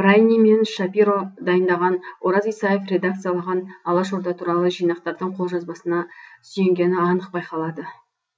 брайнин мен шапиро дайындаған ораз исаев редакциялаған алашорда туралы жинақтардың қолжазбасына сүйенгені анық байқалады